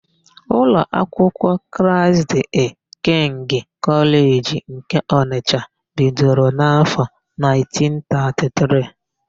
Ụlọ akwụkwọ Kraịst dịị kịngị Kọleji nke Ọnịsha bidoro n'áfọ̀ 1933.